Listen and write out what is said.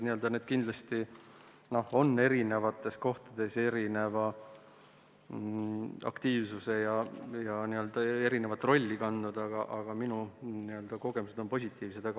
Need on kindlasti eri kohtades tegutsenud erineva aktiivsusega ja erinevat rolli kandnud, aga minu kogemused on positiivsed.